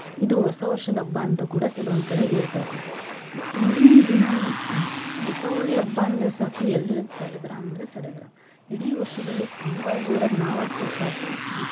ಇದು ಹೊಸ ವರ್ಷದ ಹಬ್ಬ ಅಂತ ಕೂಡ ಕೆಲವಂದ್ ಕಡೆ ಹೇಳ್ತಾರಿ ಇಂದಿನ್ ದಿನಾನೂ ದೀಪಾವಳಿ ಹಬ್ಬ ಅಂದ್ರ ಸಾಕು ಎಲ್ಲಿಲ್ಲದ ಸಡಗರ ಅಂದ್ರೆ ಸಡಗರ ಇಡೀ ವರ್ಷದಲ್ಲಿ ತುಂಬಾ ಜೋರಾಗಿ ನಾವ್ ಆಚರಿಸೋ ಹಬ್ಬ .